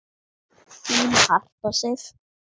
Þín Harpa Sif.